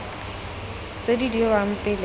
tse di dirwang pele ga